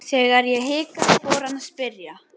Þegar ég hikaði fór hann að spyrja.